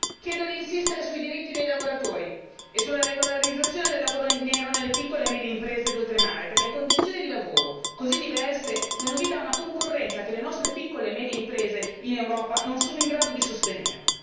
Chiedo di insistere sui diritti dei lavoratori e sulla regolarizzazione del lavoro in nero nelle piccole e medie imprese d'oltremare, perché condizioni di lavoro così diverse danno vita a una concorrenza che le nostre piccole e medie imprese in Europa non sono in grado di sostenere.